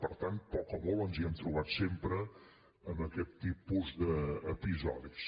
per tant poc o molt ens hi hem trobat sempre amb aquest tipus d’episodis